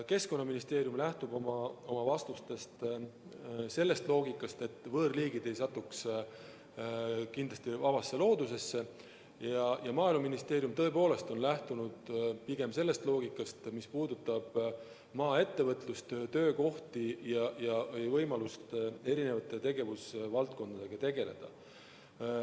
Keskkonnaministeerium lähtub oma vastuses sellest loogikast, et võõrliigid ei satuks vabasse loodusesse, ja Maaeluministeerium on tõepoolest lähtunud pigem sellest loogikast, mis puudutab maaettevõtlust, töökohti ja võimalust erinevate tegevusvaldkondadega tegeleda.